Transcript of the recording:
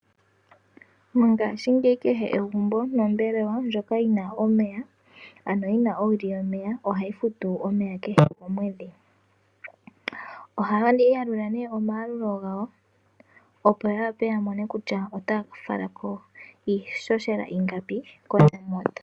Mongaashingeyi kehe egumbo nombelewa ndjoka yina omeya ano yina owili yomeya ohayi futu omeya kehe komwedhi. Ohayi yalula ne omayalulo gawo opo ya wape ya mone kutya otaya fala ko iishoshela ingapi.